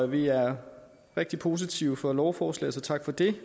vi er rigtig positive over for lovforslaget så tak for det